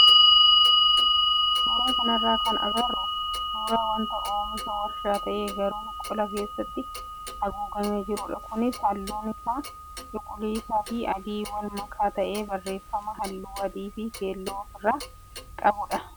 suuraa kanarraa kan agarru suuraa wanta oomisha warshaa ta'ee garuu qola keessatti haguugamee jirudha. Kunis halluun isaa cuquliisaa fi adii wal makaa ta'ee barreeffama halluu adii fi keelloo ofirraa qaba.